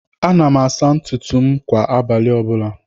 Ana m asa ntụtụ m kwá abalị ọbula.